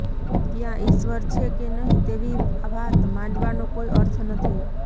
ત્યાં ઈશ્વર છે કે નહીં તેવી વાત માંડવાનો કોઈ અર્થ નથી